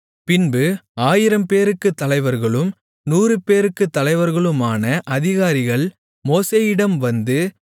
பின்பு ஆயிரம்பேருக்குத் தலைவர்களும் நூறுபேருக்குத் தலைவர்களுமான அதிகாரிகள் மோசேயிடம் வந்து